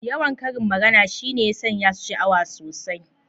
Yawan karin magana shi ne ya sanya su sha’awa sosai.